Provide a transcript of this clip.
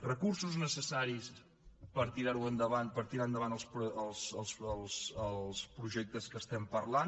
recursos necessaris per tirar ho endavant per tirar endavant els projectes que parlem